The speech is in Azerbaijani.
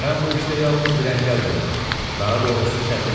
Mən bu işdə yalnız bir əngəl görürəm, daha doğrusu çətinlik.